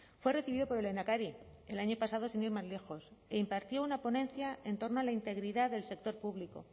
fue recibido por el lehendakari el año pasado sin ir más lejos e impartió una ponencia en torno a la integridad del sector público